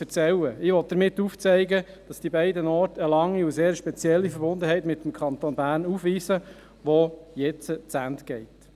– Ich will damit aufzeigen, dass die beiden Orte eine lange und sehr spezielle Verbundenheit mit dem Kanton Bern aufweisen, die jetzt zu Ende geht.